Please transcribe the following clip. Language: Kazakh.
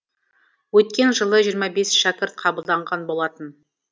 өткен жылы жиырма бес шәкірт қабылданған болатын